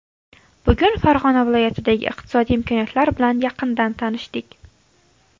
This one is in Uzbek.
Bugun Farg‘ona viloyatidagi iqtisodiy imkoniyatlar bilan yaqindan tanishdik.